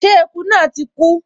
Ṣé eku náà ti kú?